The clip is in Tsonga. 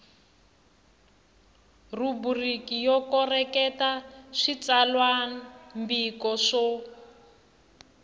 rhubiriki yo koreketa switsalwambiko swo